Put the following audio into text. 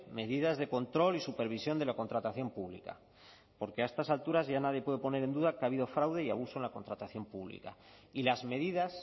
medidas de control y supervisión de la contratación pública porque a estas alturas ya nadie puede poner en duda que ha habido fraude y abuso en la contratación pública y las medidas